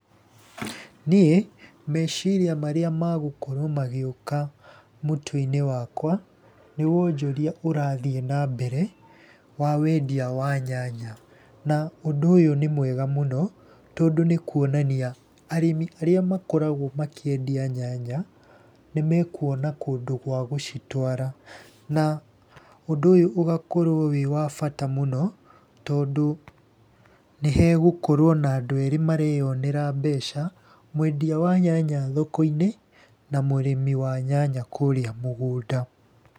Niĩ meciria marĩa magũkorwo magĩũka mũtwe-inĩ wakwa, nĩ wonjoria ũrathiĩ na mbere, wa wendia wa nyanya. Na ũndũ ũyũ nĩ mwega mũno tondũ nĩ kuonania arĩmi arĩa makoragwo makĩendia nyanya, nĩmekuona kũndũ gwa gũcitwara. Na ũndũ ũyũ ũgakorwo wĩ wa bata mũno, tondũ nĩ hegũkorwo na andũ eerĩ mareyonera mbeca, mwendia wa nyanya thoko-inĩ na mũrĩmi wa nyanya kũrĩa mũgũnda.